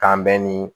K'an bɛn ni